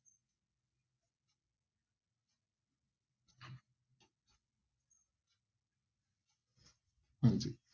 ਹਾਂਜੀ।